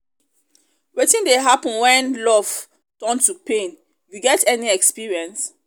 wetin dey happen when love turn to pain you get any experience?